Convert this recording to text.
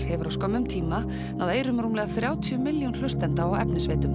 hefur á skömmum tíma náð eyrum rúmlega þrjátíu milljón hlustenda á efnisveitum